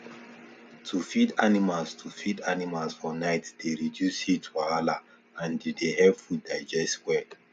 to feed animals to feed animals for night dey reduce heat wahala and e dey help food digest well